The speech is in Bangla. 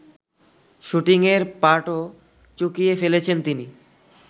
শুটিংয়ের পাটও চুকিয়ে ফেলেছেন তিনি